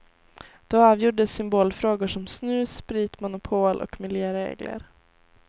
Då avgjordes symbolfrågor som snus, spritmonopol och miljöregler.